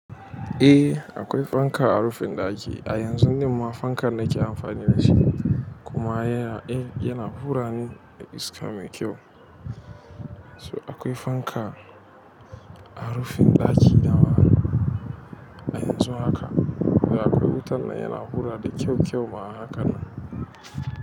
Eh, akwai fanka a rufin ɗaki. A yanzu ɗin ma fankan na ke amfani da shi kuma yana, eh yana hura ne da iska mai kyau. So akwai fanka a rufin ɗaki na a yanzu haka. Da akwai wutan nan yana hura da kyau kyau ma a haka nan.